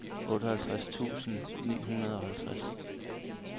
otteoghalvtreds tusind ni hundrede og halvtreds